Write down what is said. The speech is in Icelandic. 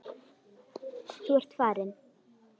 Þú ert farinn.